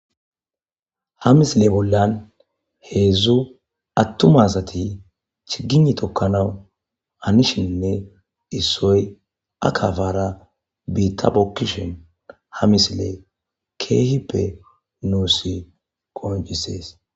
Ha misile bolla hedzudzu atuma asati chigiyne tokqnawubhanishenne issoy akapara biita bookiahn ha misiley keehippe nuusi qoncises .